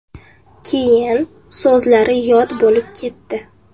Keyin so‘zlari yod bo‘lib ketdi.